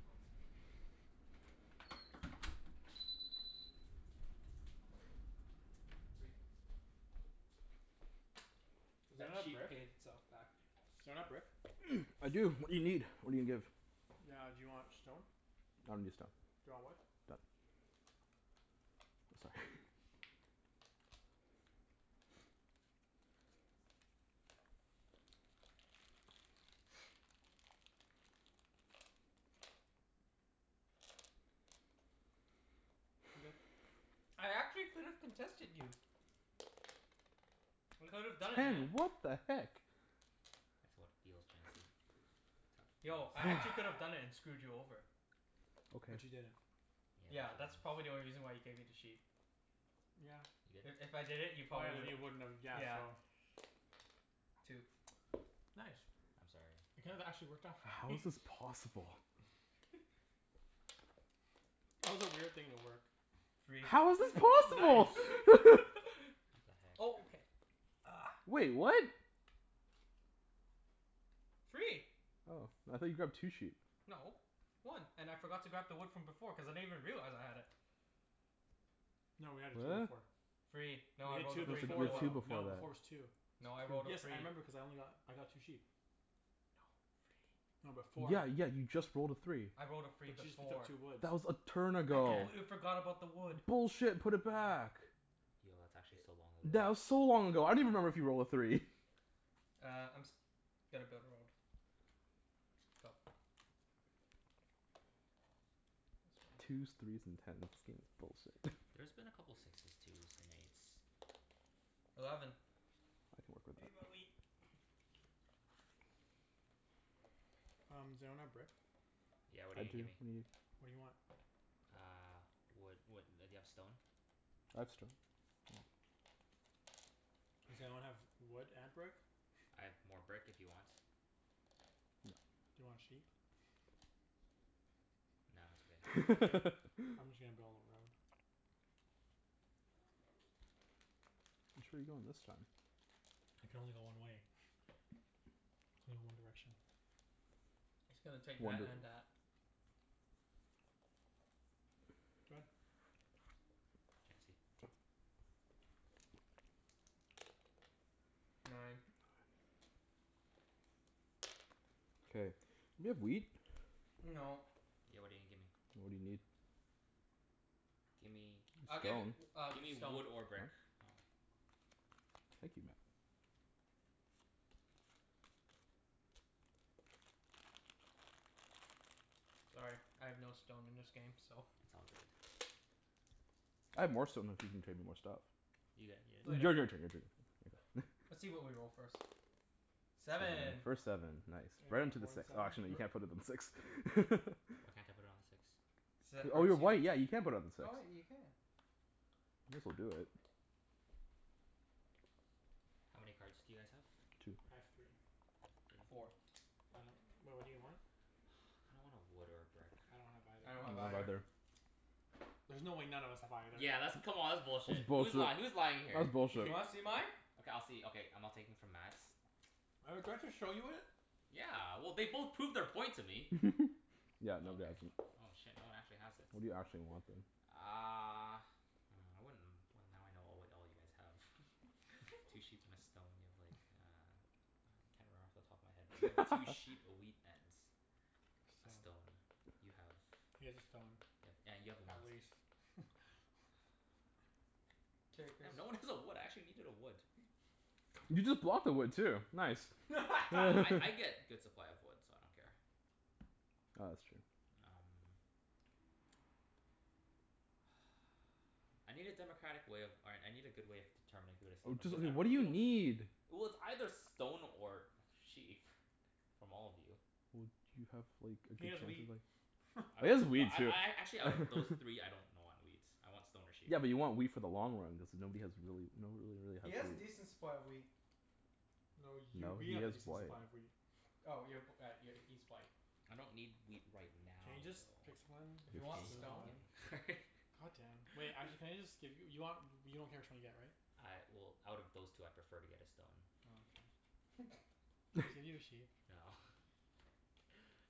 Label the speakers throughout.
Speaker 1: Go.
Speaker 2: My turn?
Speaker 1: Mhm. Three.
Speaker 2: Is that
Speaker 1: That
Speaker 2: not a
Speaker 1: sheep
Speaker 2: brick?
Speaker 1: paid itself back.
Speaker 2: Does anyone have brick?
Speaker 3: I do. What do you need? What are you gonna give?
Speaker 2: Ah, do you want stone?
Speaker 3: I don't need a stone.
Speaker 2: Do you want wood?
Speaker 3: Done. Sorry.
Speaker 2: I'm good.
Speaker 1: I actually could have contested you. I could have done it, man.
Speaker 3: Ten! What the heck?
Speaker 4: That's how it feels, Chancey. That's
Speaker 1: Yo,
Speaker 4: how
Speaker 1: I
Speaker 4: it feels.
Speaker 1: actually could've done it and screwed you over.
Speaker 3: Okay.
Speaker 2: But you didn't.
Speaker 4: Yeah,
Speaker 1: Yeah,
Speaker 4: but
Speaker 1: that's probably
Speaker 4: you
Speaker 1: the
Speaker 4: didn't.
Speaker 1: only reason why you gave me the sheep.
Speaker 2: Yeah.
Speaker 4: You
Speaker 1: If
Speaker 4: good?
Speaker 1: if I did it, you
Speaker 2: Oh
Speaker 1: probably
Speaker 2: yeah, then
Speaker 1: wouldn't
Speaker 2: you wouldn't have, yeah,
Speaker 1: Yeah.
Speaker 2: so
Speaker 1: Two.
Speaker 2: Nice.
Speaker 4: I'm sorry.
Speaker 2: That kind of actually worked out for
Speaker 3: How
Speaker 2: me.
Speaker 3: is this possible?
Speaker 2: That was a weird thing to work.
Speaker 1: Three.
Speaker 3: How is this possible?
Speaker 2: Nice.
Speaker 4: What
Speaker 1: Oh,
Speaker 4: the heck?
Speaker 1: okay. Uh.
Speaker 3: Wait, what?
Speaker 1: Three.
Speaker 3: Oh, I thought you grabbed two sheep?
Speaker 1: No. One. And I forgot to grab the wood from before cuz I didn't even realize I had it.
Speaker 2: No, we had a two to four.
Speaker 1: Free.
Speaker 2: You
Speaker 1: No, I
Speaker 2: had
Speaker 1: rolled a
Speaker 2: two
Speaker 1: three
Speaker 2: before
Speaker 1: before.
Speaker 3: two
Speaker 2: though.
Speaker 3: before
Speaker 2: No, before's
Speaker 3: that.
Speaker 2: two.
Speaker 1: No, I rolled a
Speaker 2: Yes, I
Speaker 1: three.
Speaker 2: remember cuz I only got, I got two sheep.
Speaker 1: No, three.
Speaker 2: No, before
Speaker 3: Yeah yeah, you just rolled a three.
Speaker 1: I rolled a
Speaker 2: But
Speaker 1: free
Speaker 2: you just picked up
Speaker 1: before.
Speaker 2: two woods.
Speaker 3: That was a turn
Speaker 1: I
Speaker 3: ago.
Speaker 4: Yeah.
Speaker 1: completely forgot about the wood.
Speaker 3: Bullshit. Put it back.
Speaker 4: Yo, that's actually so long ago.
Speaker 3: That was so long ago. I don't even remember if you rolled a three.
Speaker 1: Uh, I'm s- gonna build a road. Go.
Speaker 3: Twos, threes and tens. This game is bullshit.
Speaker 4: There's been a couple sixes, twos and eights.
Speaker 1: Eleven.
Speaker 3: I can work with that.
Speaker 2: Um, does anyone have brick?
Speaker 3: I do.
Speaker 4: Yeah, what are you
Speaker 3: What
Speaker 4: gonna
Speaker 3: do you
Speaker 4: give me?
Speaker 3: need?
Speaker 2: What do you want?
Speaker 4: Uh, wood wha- do you have stone?
Speaker 3: I have stone.
Speaker 2: Does anyone have wood and brick?
Speaker 4: I have more brick if you want?
Speaker 2: Do you want sheep?
Speaker 4: Nah, it's okay.
Speaker 2: Okay. I'm just gonna build a road.
Speaker 3: Which way are you going this time?
Speaker 2: I can only go one way. Only one direction.
Speaker 1: Just gonna take
Speaker 3: One
Speaker 1: that
Speaker 3: dir-
Speaker 1: and that.
Speaker 2: Go ahead.
Speaker 4: Chancey.
Speaker 1: Nine.
Speaker 3: K, do you have wheat?
Speaker 1: No.
Speaker 4: Yeah, what are you gonna give me?
Speaker 3: What do you need?
Speaker 4: Gimme
Speaker 1: I'll give
Speaker 3: Stone?
Speaker 1: i- uh,
Speaker 4: Gimme
Speaker 1: stone.
Speaker 4: wood or brick. Oh.
Speaker 3: Thank you Mat.
Speaker 1: Sorry, I have no stone in this game, so
Speaker 4: It's all good.
Speaker 3: I have more stone if you can trade me more stuff.
Speaker 4: You got yo-
Speaker 3: Y- your
Speaker 1: Later.
Speaker 3: turn, your turn.
Speaker 1: Let's see what we roll, first.
Speaker 3: Seven.
Speaker 1: Seven.
Speaker 3: First seven. Nice.
Speaker 2: Anyone
Speaker 3: Right
Speaker 2: have
Speaker 3: onto the
Speaker 2: more than
Speaker 3: six. Oh,
Speaker 2: seven?
Speaker 3: actually no, you
Speaker 1: We're
Speaker 3: can't put it on six.
Speaker 4: Why can't I put it on the six?
Speaker 3: Oh, you're white. Yeah, you can put it on the six.
Speaker 1: Oh wait, you can.
Speaker 3: This'll do it.
Speaker 4: How many cards do you guys have?
Speaker 3: Two.
Speaker 2: I have three.
Speaker 4: Three?
Speaker 1: Four.
Speaker 2: I don't, well, what do you want?
Speaker 4: Kinda want a wood or a brick.
Speaker 2: I don't have either.
Speaker 1: I don't
Speaker 3: I
Speaker 1: have
Speaker 3: don't have
Speaker 1: either.
Speaker 3: either.
Speaker 2: There's no way none of us have either.
Speaker 4: Yeah, that's, come on, that's
Speaker 3: That's
Speaker 4: bullshit. Who's lying?
Speaker 3: bullshit.
Speaker 4: Who's lying here?
Speaker 3: That's
Speaker 1: Do you
Speaker 3: bullshit.
Speaker 1: wanna see mine?
Speaker 4: Okay, I'll see, okay, I'm not taking from Mat's.
Speaker 2: Oh, do I have to show you it?
Speaker 4: Yeah, well, they both proved their point to me.
Speaker 3: Yeah, nobody has
Speaker 4: Okay.
Speaker 3: them.
Speaker 4: Oh shit, no one actually has it.
Speaker 3: What do you actually want then?
Speaker 4: Uh Hmm, I wouldn't, well, now I know all what all you guys have. Two sheep and a stone. You have like, a I can't remember off the top of my head, but you have two sheep, a wheat, and a stone.
Speaker 2: Stone.
Speaker 4: You have
Speaker 2: He has a stone.
Speaker 4: have, yeah, you have a
Speaker 2: At
Speaker 4: ones
Speaker 2: least.
Speaker 1: Takers.
Speaker 4: Damn, no one has a wood. I actually needed a wood.
Speaker 3: You just blocked the wood, too. Nice.
Speaker 4: Well I I get good supply of wood, so I don't care.
Speaker 3: Ah, that's true.
Speaker 4: Um I need a democratic way of, all right, I need a good way of determining who to steal
Speaker 3: Oh
Speaker 4: from,
Speaker 3: just
Speaker 4: cuz I
Speaker 3: wh-
Speaker 4: re- I
Speaker 3: what do you
Speaker 4: really don't
Speaker 3: need?
Speaker 4: Well, it's either stone or or sheep. From all of you.
Speaker 3: Well, do you have like, a
Speaker 2: He
Speaker 3: good
Speaker 2: has
Speaker 3: chance of
Speaker 2: wheat.
Speaker 3: like
Speaker 4: I
Speaker 3: It
Speaker 4: don't,
Speaker 3: is
Speaker 4: no,
Speaker 3: wheat,
Speaker 4: I
Speaker 3: too.
Speaker 4: I a- actually out of those three, I don't know on wheat. I want stone or sheep.
Speaker 3: Yeah, but you want wheat for the long run cuz nobody has really, nobody really
Speaker 1: He
Speaker 3: has
Speaker 1: has
Speaker 3: wheat.
Speaker 1: decent supply of wheat.
Speaker 2: No, you,
Speaker 3: No,
Speaker 2: we
Speaker 3: he
Speaker 2: have a
Speaker 3: has
Speaker 2: decent
Speaker 3: white.
Speaker 2: supply of wheat.
Speaker 1: Oh y- p- uh, y- he's white.
Speaker 4: I don't need wheat right
Speaker 2: Can you
Speaker 4: now,
Speaker 2: just
Speaker 4: though.
Speaker 2: pick someone?
Speaker 1: If you want
Speaker 2: Let's move
Speaker 1: stone
Speaker 2: on. God damn. Wait, actually can you just give you, you want, you don't care which one you get, right?
Speaker 4: I, well, out of those two I prefer to get a stone.
Speaker 2: Oh, okay. Can I just give you a sheep?
Speaker 4: No.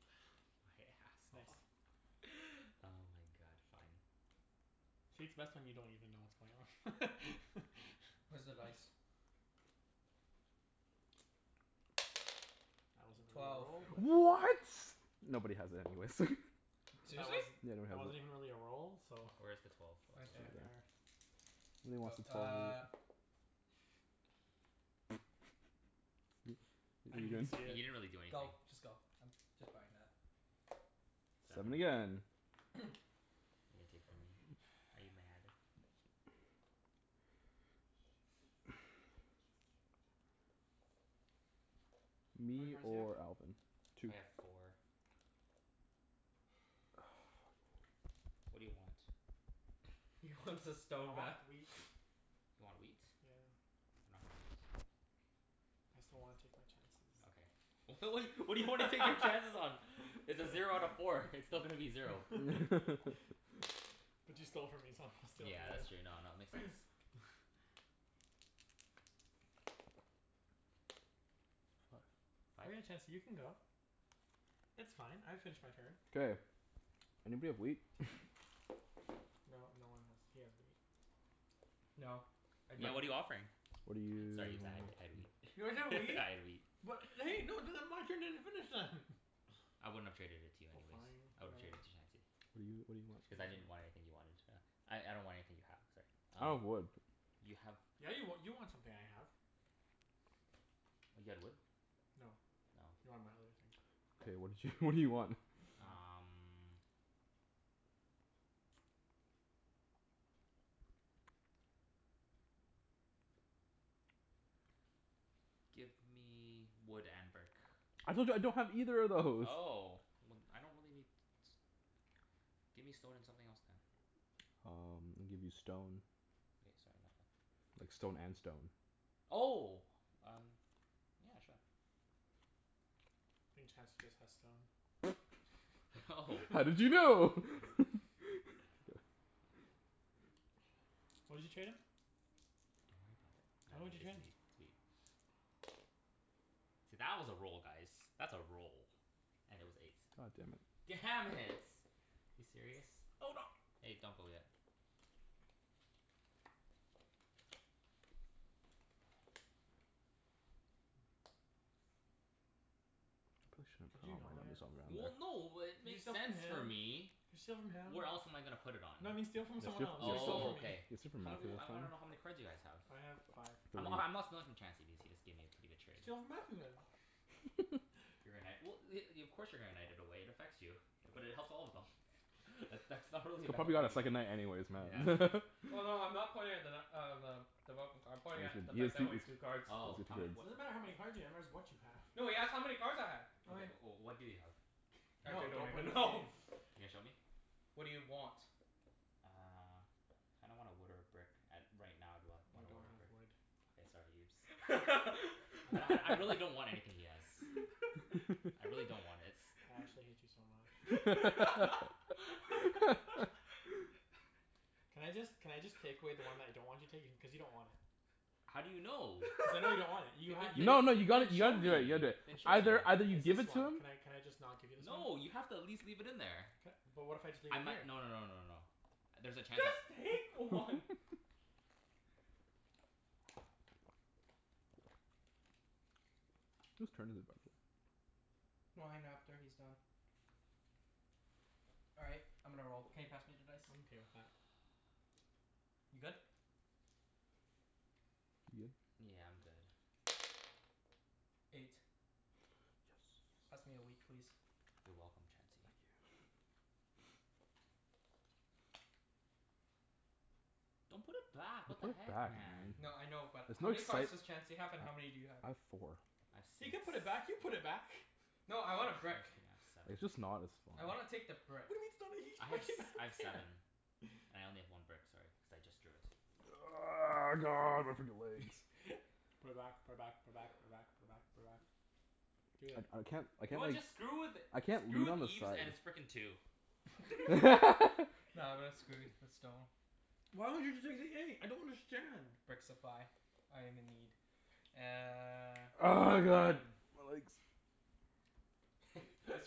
Speaker 4: My ass
Speaker 2: It's
Speaker 4: off.
Speaker 2: nice.
Speaker 4: Oh my god, fine.
Speaker 2: See, it's best when you don't even know what's going on.
Speaker 1: Where's the dice?
Speaker 2: That wasn't really a
Speaker 1: Twelve.
Speaker 2: roll, but
Speaker 3: What? Nobody has it anyways.
Speaker 2: But that
Speaker 1: Seriously?
Speaker 2: wasn't,
Speaker 3: Yeah,
Speaker 2: that wasn't
Speaker 3: nobody
Speaker 2: even
Speaker 3: has it.
Speaker 2: really a roll, so
Speaker 4: Where is the twelve?
Speaker 3: Oh,
Speaker 4: Oh, it's
Speaker 2: Right
Speaker 1: Right
Speaker 3: it's over
Speaker 1: there.
Speaker 4: over
Speaker 3: there.
Speaker 4: there.
Speaker 2: there.
Speaker 1: Go. Uh
Speaker 2: I didn't even see
Speaker 4: You
Speaker 2: it.
Speaker 4: didn't really do anything.
Speaker 1: Go. Just go. I'm just buying that.
Speaker 3: Seven
Speaker 4: Seven.
Speaker 3: again.
Speaker 4: You gonna take from me? Are you mad?
Speaker 2: How many
Speaker 3: Me
Speaker 2: cards do you have?
Speaker 3: or Alvin. Two.
Speaker 4: I have four.
Speaker 3: Oh, fuck.
Speaker 4: What do you want?
Speaker 1: He wants his
Speaker 2: I
Speaker 1: stone back.
Speaker 2: want wheat.
Speaker 4: You want wheat?
Speaker 2: Yeah.
Speaker 4: I don't have wheat.
Speaker 2: I just don't wanna take my chances.
Speaker 4: Okay. W- what what do you want to take your chances on? It's a zero out of four. It's still gonna be zero.
Speaker 2: But you stole from me so I'm gonna steal from
Speaker 4: Yeah, that's true. No,
Speaker 2: you.
Speaker 4: no, it makes sense. Five?
Speaker 2: Chancey, you can go. It's fine. I finished my turn.
Speaker 3: K, anybody have wheat?
Speaker 2: No, no one has, he has wheat.
Speaker 1: No, I
Speaker 4: Yeah.
Speaker 1: don't.
Speaker 4: What are you offering?
Speaker 3: What do you
Speaker 4: Sorry
Speaker 3: need?
Speaker 4: Ibs, I had I had wheat.
Speaker 2: You have a
Speaker 4: I
Speaker 2: wheat?
Speaker 4: had wheat.
Speaker 2: What
Speaker 4: I wouldn't have traded it to you
Speaker 2: Oh
Speaker 4: anyways.
Speaker 2: fine,
Speaker 4: I would've
Speaker 2: whatever.
Speaker 4: traded to Chancey.
Speaker 3: What do you, what do
Speaker 4: Cuz I
Speaker 3: you
Speaker 4: didn't
Speaker 3: want for it?
Speaker 4: want anything you wanted, uh I I don't want anything you have, sorry.
Speaker 3: I don't
Speaker 4: Um
Speaker 3: have wood.
Speaker 4: you have
Speaker 2: Yeah, you wa- you want something I have.
Speaker 4: You had wood?
Speaker 2: No. You
Speaker 4: Oh.
Speaker 2: want my other thing.
Speaker 3: K, what did you, what do you want?
Speaker 4: Um Give me wood and brick.
Speaker 3: I told you I don't have either of those!
Speaker 4: Oh, well I don't really need s- give me stone and something else then.
Speaker 3: Um, I'll give you stone.
Speaker 4: Okay, sorry. No, then.
Speaker 3: Like, stone and stone.
Speaker 4: Oh! Um Yeah, sure.
Speaker 2: I think Chancey just has stone.
Speaker 4: Oh.
Speaker 3: How did you know?
Speaker 2: What did you trade him?
Speaker 4: Don't worry about it. Nah,
Speaker 2: Tell me what
Speaker 4: it's
Speaker 2: you traded?
Speaker 4: wheat. It's wheat. See that was a roll, guys. That's a roll. And it was eight.
Speaker 3: God damn it.
Speaker 4: Damn it. You serious?
Speaker 1: Hold on.
Speaker 4: Hey, don't go yet.
Speaker 2: Mm. Could you not?
Speaker 3: there.
Speaker 4: Well, no, it
Speaker 2: Can you
Speaker 4: makes
Speaker 2: steal from
Speaker 4: sense for
Speaker 2: him?
Speaker 4: me.
Speaker 2: Can you steal from him?
Speaker 4: Where else am I gonna put it on?
Speaker 2: No, but steal from someone else. Don't steal
Speaker 4: Oh,
Speaker 2: from me.
Speaker 4: okay. How m- I wanna know how many cards you guys have.
Speaker 2: I have five.
Speaker 3: Three.
Speaker 4: I'm h- I'm not stealing from Chancey cuz he just gave me a pretty good trade.
Speaker 2: Steal from Mathew, then.
Speaker 4: If you're gonna knight, well y- i- of course you're gonna knight it away. It affects you. But it helps all of them. But that's not really a
Speaker 3: He'll
Speaker 4: bad
Speaker 3: probably got a second
Speaker 4: argument.
Speaker 3: knight anyways,
Speaker 4: Yeah.
Speaker 3: man.
Speaker 1: Oh, no, I'm not pointing at the nut uh, the I'm pointing at the fact that I only have two cards.
Speaker 3: three
Speaker 4: Oh. How many
Speaker 2: It
Speaker 4: what i-
Speaker 2: doesn't matter
Speaker 3: cards.
Speaker 2: how many cards
Speaker 4: w-
Speaker 2: you have, it's what you have.
Speaker 1: No, he asked how many cards I had.
Speaker 4: Okay,
Speaker 2: Okay.
Speaker 4: o- oh what do you have?
Speaker 1: Actually,
Speaker 2: No,
Speaker 1: I don't
Speaker 2: don't play
Speaker 1: even
Speaker 2: this
Speaker 1: know.
Speaker 2: game.
Speaker 4: You gonna show me?
Speaker 1: What do you want?
Speaker 4: Uh I don't want a wood or a brick, at right now I'd wa-
Speaker 2: Oh, I
Speaker 4: a
Speaker 2: don't
Speaker 4: wood or a
Speaker 2: have
Speaker 4: brick.
Speaker 2: wood.
Speaker 4: Okay, sorry Ibs.
Speaker 2: I
Speaker 4: I'd
Speaker 2: don't
Speaker 4: I I
Speaker 2: have
Speaker 4: really
Speaker 2: wood.
Speaker 4: don't want anything he has. I really don't want its.
Speaker 2: I actually hate you so much. Can I just, can I just take away the one that I don't want you to take? Cuz you don't want it.
Speaker 4: How do you know?
Speaker 2: Cuz I know you don't want it. You
Speaker 4: You
Speaker 2: had,
Speaker 4: did
Speaker 2: you
Speaker 4: did
Speaker 3: No no,
Speaker 2: just
Speaker 3: you
Speaker 4: you
Speaker 3: gotta
Speaker 4: didn't
Speaker 3: you
Speaker 4: show
Speaker 3: gotta
Speaker 4: me.
Speaker 3: do it. You gotta do it.
Speaker 4: Then show me.
Speaker 3: Either either you
Speaker 2: It's
Speaker 3: give
Speaker 2: this
Speaker 3: it to
Speaker 2: one.
Speaker 3: him
Speaker 2: Can I can I just not give you this one?
Speaker 4: No, you have to at least leave it in there.
Speaker 2: Ca- but what if I just leave
Speaker 4: I
Speaker 2: it
Speaker 4: mi-
Speaker 2: here?
Speaker 4: no no no no no no. There's a chance I
Speaker 1: Just take one.
Speaker 3: Whose turn is it, by the way?
Speaker 1: Mine, after he's done. All right. I'm gonna roll. Can you pass me the dice?
Speaker 2: I'm okay with that.
Speaker 1: You good?
Speaker 3: You good?
Speaker 4: Yeah, I'm good.
Speaker 1: Eight.
Speaker 3: Yes.
Speaker 1: Pass me a wheat please?
Speaker 4: You're welcome, Chancey.
Speaker 3: Thank you.
Speaker 4: Don't put it back.
Speaker 3: You
Speaker 4: What the
Speaker 3: put
Speaker 4: heck,
Speaker 3: back, man.
Speaker 4: man?
Speaker 1: No, I know, but
Speaker 3: There's
Speaker 1: how
Speaker 3: no
Speaker 1: many cards
Speaker 3: excite-
Speaker 1: does Chancey
Speaker 3: I
Speaker 1: have and how many do you have?
Speaker 3: I have four.
Speaker 4: I have
Speaker 2: He
Speaker 4: six.
Speaker 2: can put it back. You put it back.
Speaker 1: No, I want a
Speaker 4: can
Speaker 1: brick.
Speaker 4: I have seven?
Speaker 3: It's just not as
Speaker 1: I
Speaker 3: fun.
Speaker 1: wanna take the brick.
Speaker 4: I had s- I have seven. I only have one brick, sorry, cuz I just drew it.
Speaker 3: God
Speaker 2: Put it back. Put it back. Put it back. Put it back. Put it back. Put it back. Do it.
Speaker 3: I I can't I
Speaker 4: You know
Speaker 3: can't
Speaker 4: what?
Speaker 3: like
Speaker 4: Just screw with it.
Speaker 3: I can't
Speaker 4: Screw
Speaker 3: leave
Speaker 4: with
Speaker 3: on this
Speaker 4: Ibs
Speaker 3: side.
Speaker 4: and his frickin' two.
Speaker 1: Nah, I'm gonna screw with the stone.
Speaker 2: I don't understand.
Speaker 1: Brick supply. I am in need. Uh
Speaker 3: Oh my god, my legs.
Speaker 1: It's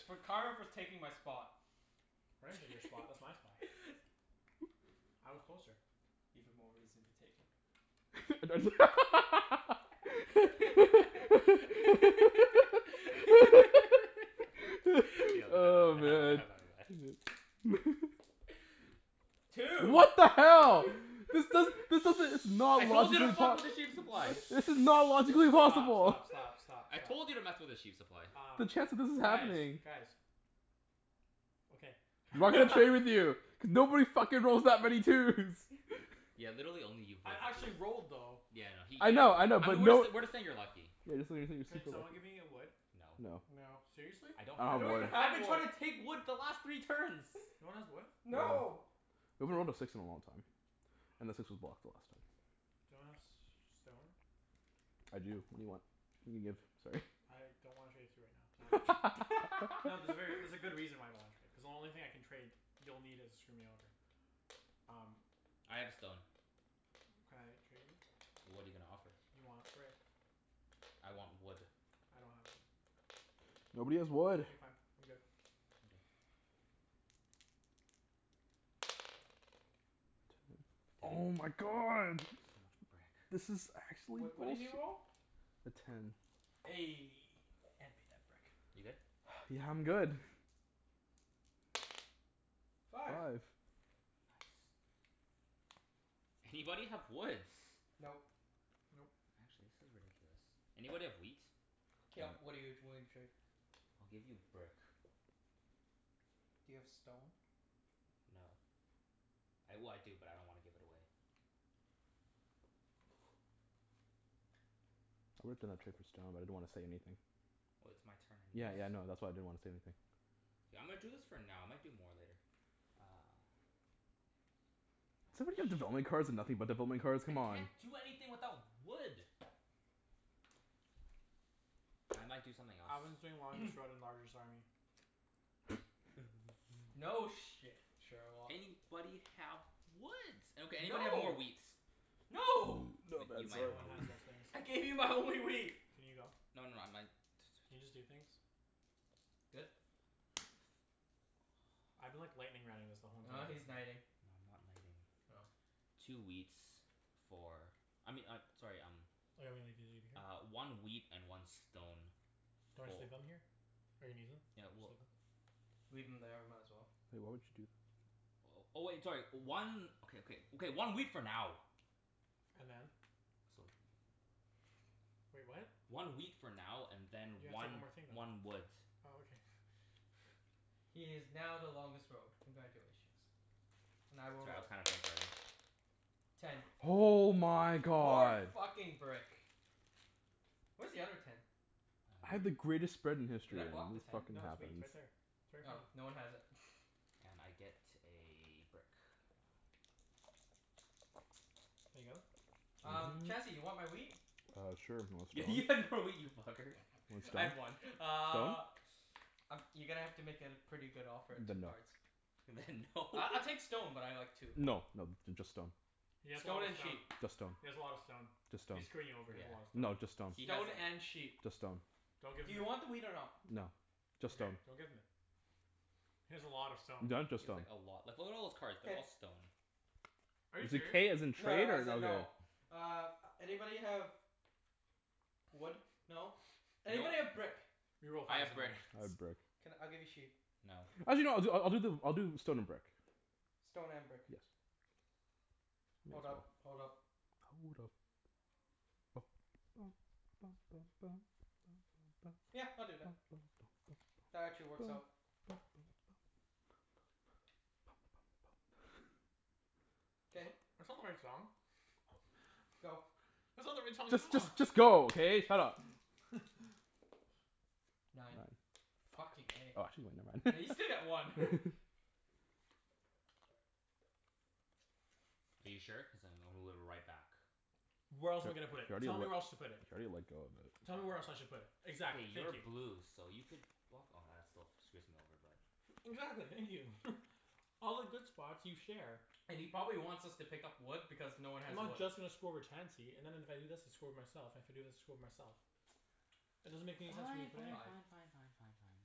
Speaker 1: for karma for taking my spot.
Speaker 2: I didn't take your spot. That's my spot. I was closer.
Speaker 1: Even more reason to take it.
Speaker 3: Oh, man.
Speaker 1: Two!
Speaker 3: What the hell? This does,
Speaker 2: Shh. Shh.
Speaker 3: this doesn't it's not
Speaker 4: I told you to fuck with the sheep supply!
Speaker 3: This is not logically possible.
Speaker 2: Stop, stop, stop, stop, stop.
Speaker 4: I told you to mess with the sheep supply.
Speaker 2: Um,
Speaker 3: The chance that this is
Speaker 2: guys,
Speaker 3: happening.
Speaker 2: guys. Okay.
Speaker 3: I'm not gonna play with you. Cuz nobody fucking rolls that many twos!
Speaker 4: Yeah, literally only you've rolled
Speaker 2: I
Speaker 4: twos.
Speaker 2: actually rolled, though.
Speaker 4: Yeah, I know. He,
Speaker 3: I know,
Speaker 4: yeah
Speaker 3: I know,
Speaker 4: I know
Speaker 3: but
Speaker 4: we're
Speaker 3: no
Speaker 4: jus- we're just saying you're lucky.
Speaker 3: Yeah, just we're saying you're
Speaker 2: Can
Speaker 3: super
Speaker 2: someone
Speaker 3: lucky.
Speaker 2: give me a wood?
Speaker 4: No.
Speaker 3: No.
Speaker 1: No.
Speaker 2: Seriously?
Speaker 4: I
Speaker 3: I don't
Speaker 4: don't
Speaker 1: I
Speaker 4: have
Speaker 3: have
Speaker 1: don't
Speaker 4: wood.
Speaker 1: even
Speaker 3: wood.
Speaker 4: I've
Speaker 1: have
Speaker 4: been
Speaker 1: wood.
Speaker 4: trying to take wood the last three turns.
Speaker 2: No one has wood?
Speaker 3: No.
Speaker 1: No!
Speaker 3: We haven't rolled a six in a long time. And the six was blocked the last time.
Speaker 2: Do you want a s- stone?
Speaker 3: I do. What do you want? Can you give? Sorry.
Speaker 2: I don't wanna trade it to you right now. Not No, there's a ver- there's a good reason why I don't wanna trade. Cuz the only thing I can trade, you'll need it to screw me over. Um
Speaker 4: I have a stone.
Speaker 2: Can I trade you?
Speaker 4: What are you gonna offer?
Speaker 2: You want a brick.
Speaker 4: I want wood.
Speaker 2: I don't have wood.
Speaker 3: Nobody has wood.
Speaker 2: Okay fine, I'm good.
Speaker 4: Okay.
Speaker 3: Oh
Speaker 4: Ten.
Speaker 3: my god!
Speaker 4: So much brick.
Speaker 3: This is actually
Speaker 1: What what did
Speaker 3: bullshit.
Speaker 1: you roll?
Speaker 3: A ten.
Speaker 1: Eh, hand me that brick.
Speaker 4: You good?
Speaker 3: Yeah, I'm good.
Speaker 1: Five.
Speaker 3: Five.
Speaker 4: Anybody have woods?
Speaker 1: Nope.
Speaker 2: Nope.
Speaker 4: Actually, this is ridiculous. Anybody have wheat?
Speaker 1: K, yep. What are you t- willing to trade?
Speaker 4: I'll give you brick.
Speaker 1: Do you have stone?
Speaker 4: No. I, well, I do, but I don't wanna give it away.
Speaker 3: It's worth in a trade for stone, but I didn't wanna say anything.
Speaker 4: Well, it's my turn anyways.
Speaker 3: Yeah,
Speaker 1: Yes.
Speaker 3: yeah, no. That's why I didn't wanna say anything.
Speaker 4: K, I'm gonna do this for now. I might do more later. Uh.
Speaker 3: Does somebody have
Speaker 4: Ah,
Speaker 3: development cards and
Speaker 4: shit.
Speaker 3: nothing but development cards?
Speaker 4: I
Speaker 3: Come on.
Speaker 4: can't do anything without wood. I might do something else.
Speaker 2: Alvin's doing army.
Speaker 1: No shit, Sherlock.
Speaker 4: Anybody have woods? Okay, anybody have more
Speaker 1: No!
Speaker 4: wheats?
Speaker 1: No!
Speaker 4: But you might
Speaker 2: No
Speaker 4: have
Speaker 2: one
Speaker 4: more wheat.
Speaker 2: has those things.
Speaker 1: I gave you my only wheat.
Speaker 4: Aw,
Speaker 2: Can you go?
Speaker 4: no no, I might
Speaker 2: Can you just do things?
Speaker 1: Good?
Speaker 2: I've been like lightning rounding this the whole
Speaker 1: Ah,
Speaker 2: entire
Speaker 4: No,
Speaker 1: he's
Speaker 4: no,
Speaker 2: game.
Speaker 1: knighting.
Speaker 4: I'm not knighting.
Speaker 1: Oh.
Speaker 4: Two wheats for I mean I, sorry, um
Speaker 2: leave it
Speaker 4: Uh,
Speaker 2: here?
Speaker 4: one wheat and one stone
Speaker 2: Do you wanna just
Speaker 4: fo-
Speaker 2: leave them here? Or you need them?
Speaker 4: Yeah,
Speaker 2: Just
Speaker 4: well
Speaker 2: leave them?
Speaker 1: Leave them there. Might as well.
Speaker 3: Wait, what would you do?
Speaker 4: Oh, oh wait, sorry. One Okay, okay. Okay, one wheat for now.
Speaker 2: And then?
Speaker 4: So
Speaker 2: Wait, what?
Speaker 4: One wheat for now and then
Speaker 2: You have to take one
Speaker 4: one
Speaker 2: more thing, though.
Speaker 4: one wood.
Speaker 2: Oh, okay.
Speaker 1: He is now the longest road. Congratulations. And I will
Speaker 4: Sorry, I was
Speaker 1: roll.
Speaker 4: kinda brain farting.
Speaker 1: Ten.
Speaker 3: Oh my
Speaker 1: More
Speaker 3: god!
Speaker 1: fucking brick. Where's the other ten?
Speaker 3: I had the
Speaker 2: Wheat.
Speaker 4: Ah
Speaker 3: greatest spread in
Speaker 1: Should
Speaker 3: history
Speaker 1: I
Speaker 3: and
Speaker 1: block
Speaker 3: then
Speaker 1: the
Speaker 3: this
Speaker 1: ten?
Speaker 3: fucking
Speaker 2: No, it's
Speaker 1: Oh.
Speaker 2: wheat
Speaker 3: happens.
Speaker 2: right there. It's right in
Speaker 1: Oh,
Speaker 2: front of
Speaker 1: no
Speaker 2: you.
Speaker 1: one has it.
Speaker 4: And I get a brick. No.
Speaker 2: Can I go?
Speaker 1: Um,
Speaker 3: Mhm.
Speaker 1: Chancey? You want my wheat?
Speaker 3: Uh, sure.
Speaker 4: Y-
Speaker 3: You
Speaker 4: you
Speaker 3: want stone?
Speaker 4: had more wheat, you fucker.
Speaker 3: Want
Speaker 1: I
Speaker 3: stone?
Speaker 1: had one.
Speaker 3: Stone?
Speaker 1: Uh Um, you're gonna have to make it a pretty good offer at two
Speaker 3: Then no.
Speaker 1: cards.
Speaker 4: Then no.
Speaker 1: I I'll take stone, but I like two.
Speaker 3: No no, th- just stone.
Speaker 2: He has a lot
Speaker 1: Stone
Speaker 2: of
Speaker 1: and
Speaker 2: stone.
Speaker 1: sheep.
Speaker 3: Just stone.
Speaker 2: He has a lot of stone.
Speaker 3: Just stone.
Speaker 2: He's screwing you over. He has a lot
Speaker 4: Yeah.
Speaker 2: of stone.
Speaker 3: No, just stone.
Speaker 4: He has
Speaker 1: Stone
Speaker 4: a l-
Speaker 1: and sheep.
Speaker 3: Just stone.
Speaker 2: Don't give
Speaker 1: Do
Speaker 2: him
Speaker 1: you
Speaker 2: it.
Speaker 1: want the wheat or no?
Speaker 3: No. Just
Speaker 2: Okay.
Speaker 3: stone.
Speaker 2: Don't give him it. He has a lot of stone.
Speaker 4: He
Speaker 3: No, just
Speaker 4: has like
Speaker 3: stone.
Speaker 4: a lot. Like what are all those cards? They're
Speaker 1: K.
Speaker 4: all stone.
Speaker 2: Are you
Speaker 3: Is it "k" as
Speaker 2: serious?
Speaker 3: in
Speaker 1: No no,
Speaker 3: trade, or
Speaker 1: as in
Speaker 3: no
Speaker 1: no.
Speaker 3: k?
Speaker 1: Uh, anybody have wood? No?
Speaker 4: No.
Speaker 1: Anybody have brick?
Speaker 2: You will
Speaker 4: I
Speaker 2: find
Speaker 4: have brick.
Speaker 2: someone.
Speaker 3: I have brick.
Speaker 1: Can, I'll give you sheep.
Speaker 4: No.
Speaker 3: Actually no, I'll do I I'll do the I'll do stone and brick.
Speaker 1: Stone and brick.
Speaker 3: Yes. That's
Speaker 1: Hold up.
Speaker 3: right.
Speaker 1: Hold up.
Speaker 3: Hold up.
Speaker 1: Yeah, I'll do that. That actually works out.
Speaker 2: That's
Speaker 1: K.
Speaker 2: not, that's not the right song.
Speaker 1: Go.
Speaker 2: That's not the right song at
Speaker 3: Just
Speaker 2: all.
Speaker 3: just just go, okay? Shut up.
Speaker 1: Nine.
Speaker 3: Nine.
Speaker 1: Fucking eh.
Speaker 3: Oh actually no, never
Speaker 1: Yeah, you still get one.
Speaker 3: mind.
Speaker 4: Are you sure? Cuz I'm gonna move it right back.
Speaker 2: Where else am I
Speaker 3: K.
Speaker 2: gonna put
Speaker 3: You
Speaker 2: it? Tell me
Speaker 3: already
Speaker 2: where else
Speaker 3: let
Speaker 2: to put
Speaker 3: You
Speaker 2: it.
Speaker 3: already let go of it.
Speaker 2: Tell me where else I should put it?
Speaker 4: K,
Speaker 2: Exactly. Thank
Speaker 4: you're
Speaker 2: you.
Speaker 4: blue so you could block, oh that still f- screws me over but
Speaker 2: Exactly. Thank you. All the good spots, you share.
Speaker 1: And he probably wants us to pick up wood because no one
Speaker 2: I'm
Speaker 1: has
Speaker 2: not
Speaker 1: wood.
Speaker 2: just gonna screw over Chancey and then if I do this I screw with myself and if I do this, I screw with myself. It doesn't
Speaker 4: Fine,
Speaker 2: make any sense for me to
Speaker 4: fine,
Speaker 2: put
Speaker 4: fine,
Speaker 1: Five.
Speaker 2: anywhere.
Speaker 4: fine, fine, fine, fine.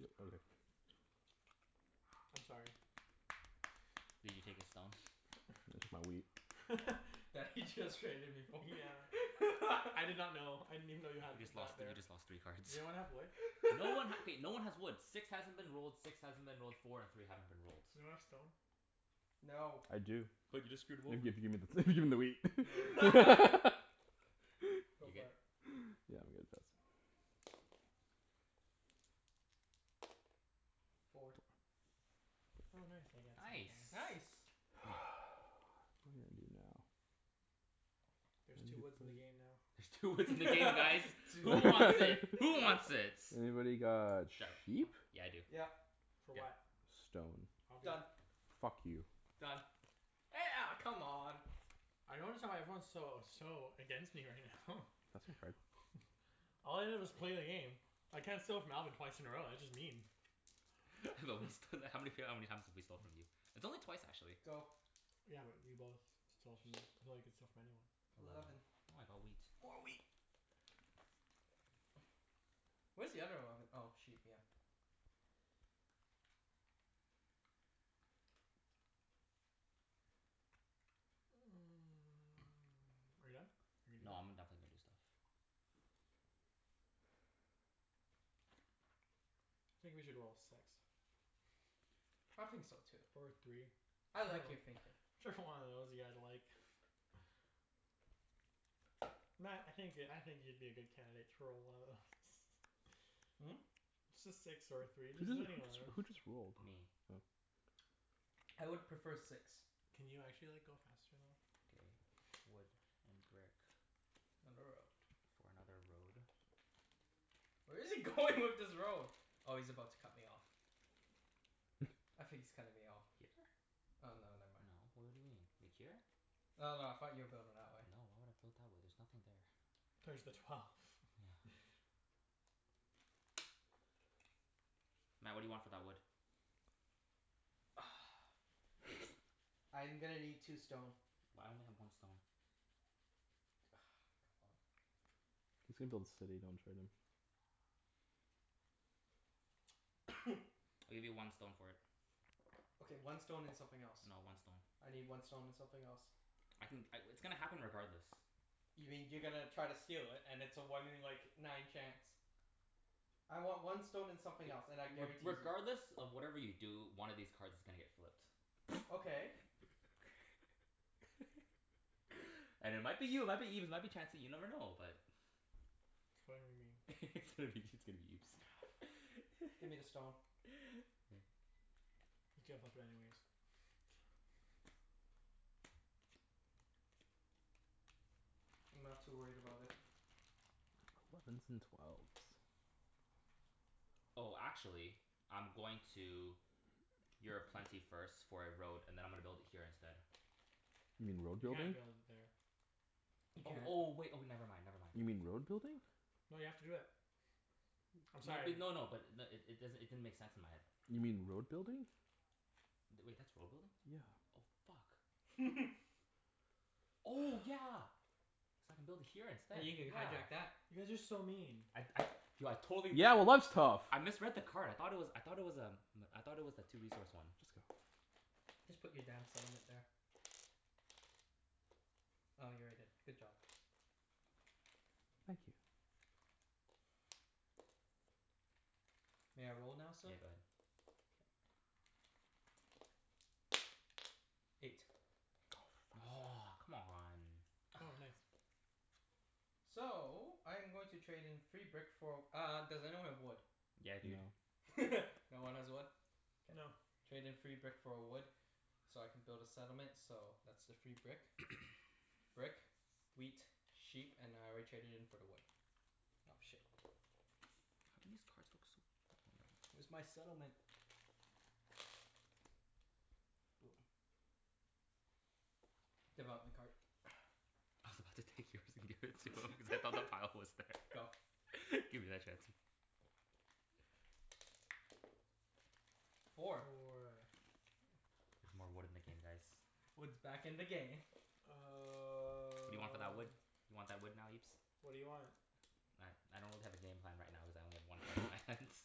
Speaker 3: Yep, okay.
Speaker 2: I'm sorry.
Speaker 4: Did you take his stone?
Speaker 3: Just my wheat.
Speaker 1: That he just traded me for.
Speaker 2: Yeah. I did not know. I didn't even know you had
Speaker 4: You just lost
Speaker 2: that
Speaker 4: thr- you
Speaker 2: there.
Speaker 4: just lost three cards.
Speaker 2: Does anyone have wood?
Speaker 4: No one ha- okay, no one has woods. Six hasn't been rolled, six hasn't been rolled, four and three haven't been rolled.
Speaker 2: Does anyone have stone?
Speaker 1: No.
Speaker 3: I do.
Speaker 4: But you just screwed
Speaker 3: If
Speaker 4: him over.
Speaker 3: if you gimme the gimme the wheat.
Speaker 2: No. Go
Speaker 4: You good?
Speaker 2: for it.
Speaker 3: Yeah, I'm good. Pass.
Speaker 1: Four.
Speaker 2: Oh, nice. I get
Speaker 4: Nice.
Speaker 2: something.
Speaker 1: Nice.
Speaker 3: What am I gonna do now?
Speaker 2: There's two woods in the game now.
Speaker 4: There's two woods in the game, guys! Who wants
Speaker 1: Two
Speaker 4: it? Who wants its?
Speaker 3: Anybody got sheep?
Speaker 4: Yeah, I do.
Speaker 1: Yep.
Speaker 2: For
Speaker 4: Yep.
Speaker 2: what?
Speaker 3: Stone.
Speaker 2: I'll do
Speaker 1: Done.
Speaker 2: it.
Speaker 3: Fuck you.
Speaker 1: Done. Eh a- come on!
Speaker 2: I notice how everyone's so so against me right now.
Speaker 3: Pass me a card.
Speaker 2: All I did was play a game. I can't steal off Alvin twice in a row. That's just mean.
Speaker 4: But we sto- how many f- how many times have we stole from you? It's only twice, actually.
Speaker 1: Go.
Speaker 2: Yeah, but you both stole from me. Even though you could steal from anyone.
Speaker 1: Eleven.
Speaker 4: Eleven. Oh, I got wheat.
Speaker 1: More wheat. Where's the other eleven? Oh, sheep, yeah.
Speaker 2: Are you done? Are you gonna
Speaker 4: No,
Speaker 2: do anything?
Speaker 4: I'm go- definitely gonna do stuff.
Speaker 2: I think we should roll a six.
Speaker 1: I think so, too.
Speaker 2: Or a three.
Speaker 1: I like your thinking.
Speaker 2: Whichever one of those you guys like. Mat, I think you could, I think you'd be a good candidate to roll one of those.
Speaker 1: Hmm?
Speaker 2: Just a six or a three. Just
Speaker 3: Who j- who
Speaker 2: any one of
Speaker 3: jus- who
Speaker 2: those.
Speaker 3: just rolled?
Speaker 4: Me.
Speaker 3: Oh.
Speaker 1: I would prefer six.
Speaker 2: Can you actually like, go faster, though?
Speaker 4: K. Wood and brick. For another road.
Speaker 1: Where is he going with this road? Oh, he's about to cut me off. I think he's cutting me off here.
Speaker 4: Here?
Speaker 1: Oh no, never mind.
Speaker 4: No. W- what do you mean? Like, here?
Speaker 1: No, no, I thought you were building that way.
Speaker 4: No, why would I build that way? There's nothing there.
Speaker 2: There's the twelve.
Speaker 4: No. Mat, what do you want for that wood?
Speaker 1: I'm gonna need two stone.
Speaker 4: Well I only have one stone.
Speaker 1: Come on.
Speaker 3: He's gonna build a city. Don't trade him.
Speaker 4: I'll give you one stone for it.
Speaker 1: Okay, one stone and something else.
Speaker 4: No, one stone.
Speaker 1: I need one stone and something else.
Speaker 4: I can c- w- it's gonna happen regardless.
Speaker 1: You mean you're gonna try to steal it and it's a one in like, nine chance. I want one stone and something else, and
Speaker 4: I-
Speaker 1: I
Speaker 4: re-
Speaker 1: guarantee you
Speaker 4: regardless of whatever you do, one of these cards is gonna get flipped.
Speaker 1: Okay.
Speaker 4: And it might be you, it might be Ibs, it might be Chancey, you never know. But
Speaker 2: It's probably gonna be me.
Speaker 4: It's gonna be, it's gonna be Ibs.
Speaker 1: Ah, fine. Give me the stone.
Speaker 2: You can't flip it anyways.
Speaker 1: I'm not too worried about it.
Speaker 3: Elevens and twelves.
Speaker 4: Oh, actually I'm going to you're a plenty first for a road, and then I'm gonna build it here instead.
Speaker 3: You mean road
Speaker 2: You can't
Speaker 3: building?
Speaker 2: build it there.
Speaker 1: You
Speaker 4: Oh,
Speaker 1: can't.
Speaker 4: oh wait, oh never mind, never mind.
Speaker 3: You mean
Speaker 4: Fuck.
Speaker 3: road
Speaker 4: Fuck.
Speaker 3: building?
Speaker 2: No, you have to do it. I'm
Speaker 4: No b-
Speaker 2: sorry.
Speaker 4: no no, but i- n- it does'n- it didn't make sense in my head.
Speaker 3: You mean road building?
Speaker 4: Th- wait, that's road building?
Speaker 3: Yeah.
Speaker 4: Oh fuck. Oh yeah! So I can build it here instead.
Speaker 1: You can
Speaker 4: Yeah.
Speaker 1: hijack that.
Speaker 2: You guys are so mean.
Speaker 4: I'd I du- I totally missed
Speaker 3: Yeah, well,
Speaker 4: it.
Speaker 3: that's tough.
Speaker 4: I misread the card. I thought it was, I thought it was um I thought it was a two resource one.
Speaker 3: Just go.
Speaker 1: Just put your damn settlement there. Oh, you already did. Good job.
Speaker 3: Thank you.
Speaker 1: May I roll now, sir?
Speaker 4: Yeah, go ahead.
Speaker 1: K. Eight.
Speaker 3: Oh fuck.
Speaker 4: Aw, come on.
Speaker 2: Oh, nice.
Speaker 1: So, I'm going to trade in free brick for uh, does anyone have wood?
Speaker 4: Yeah dude.
Speaker 3: No.
Speaker 1: No one has wood? K.
Speaker 2: No.
Speaker 1: Trade in free brick for a wood so I can build a settlement so that's the free brick. Brick, wheat, sheep, and I already traded in for the wood. Oh, shit.
Speaker 4: How come these cards look so
Speaker 1: Where's my settlement? Boom. Development card.
Speaker 4: I was about to take yours and give it to him cuz I thought the pile was there.
Speaker 1: Go.
Speaker 4: Give me that Chancey.
Speaker 1: Four.
Speaker 2: Four.
Speaker 4: There's more wood in the game, guys.
Speaker 1: Wood's back in the game.
Speaker 4: What do you want for that wood?
Speaker 2: Um
Speaker 4: You want that wood now, Ibs?
Speaker 2: What do you want?
Speaker 4: I I don't really have a game plan right now cuz I only have one card in my hands.